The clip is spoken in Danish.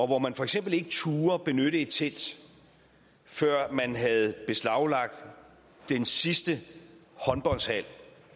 hvor man for eksempel ikke turde benytte et telt før man havde beslaglagt den sidste håndboldhal